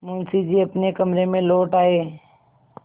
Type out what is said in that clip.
मुंशी जी अपने कमरे में लौट आये